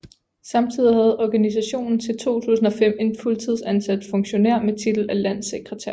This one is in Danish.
Samtidig havde organisationen til 2005 en fuldtidsansat funktionær med titel af landssekretær